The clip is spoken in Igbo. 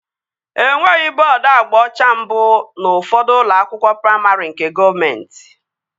Enweghị bọọdu agba ọcha mbụ n'ufodu ụlọ akwụkwọ praimarị nke gọọmenti